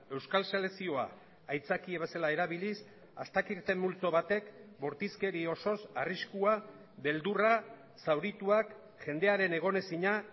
euskal selekzioa aitzakia bezala erabiliz astakirten multzo batek bortizkeri osoz arriskua beldurra zaurituak jendearen egonezina